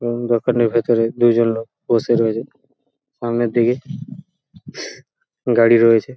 এবং দোকানের ভেতরে দুজন লোক বসে রয়েছে সামনের দিকে গাড়ি রয়েছে।